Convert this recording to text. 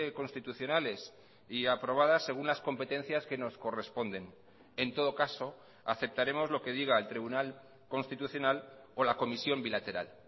constitucionales y aprobadas según las competencias que nos corresponden en todo caso aceptaremos lo que diga el tribunal constitucional o la comisión bilateral